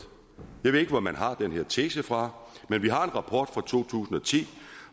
jeg ved ikke hvor man har den her tese fra men vi har en rapport fra to tusind og ti